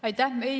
Aitäh!